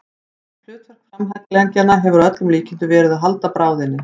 Hlutverk framhandleggjanna hefur að öllum líkindum verið að halda bráðinni.